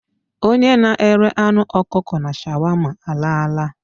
Onye na-ere anụ ọkụkọ na shawama alaala.